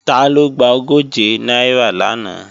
Taló gba ogóje náírà lánàá?